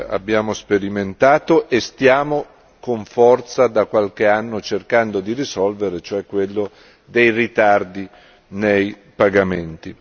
abbiamo sperimentato e stiamo con forza da qualche anno cercando di risolvere, cioè quello dei ritardi nei pagamenti.